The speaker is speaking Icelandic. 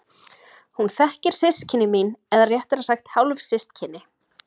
Hún þekkir systkini mín eða réttara sagt hálfsystkini.